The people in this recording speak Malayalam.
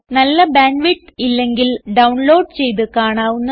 നല്ല ബാൻഡ് വിഡ്ത്ത് ഇല്ലെങ്കിൽ ഡൌൺലോഡ് ചെയ്ത് കാണാവുന്നതാണ്